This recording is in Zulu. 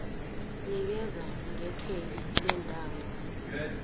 nikeza ngekheli lendawo